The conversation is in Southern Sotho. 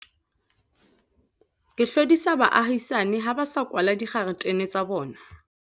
Ke hlodisa baahisani ha ba sa kwala dikgaretene tsa bona.